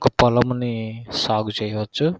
ఒక పొలముని సాగు చేయచ్చు.